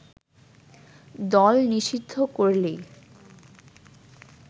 দল নিষিদ্ধ করলেই